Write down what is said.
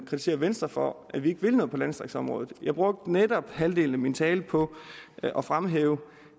kritiserer venstre for at vi ikke vil noget på landdistriktsområdet jeg brugte netop halvdelen af min tale på at fremhæve